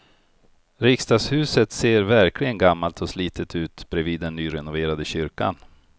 Riksdagshuset ser verkligen gammalt och slitet ut bredvid den nyrenoverade kyrkan.